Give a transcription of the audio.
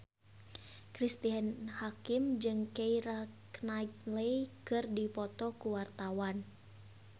Cristine Hakim jeung Keira Knightley keur dipoto ku wartawan